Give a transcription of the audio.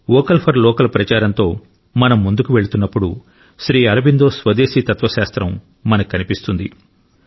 vocal for local ప్రచారంతో మనం ముందుకు వెళుతున్నప్పుడు శ్రీ అరబిందో స్వదేశీ తత్వశాస్త్రం మనకు కనిపిస్తుంది